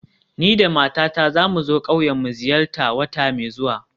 Ni da matata za mu zo ƙauyen mu ziyarta wata mai zuwa